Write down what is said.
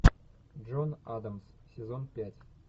джон адамс сезон пять